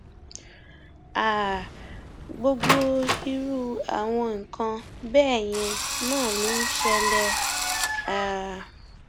um gbogbo irú àwọn nǹkan bẹẹ yẹn náà ló ń ṣẹlẹ um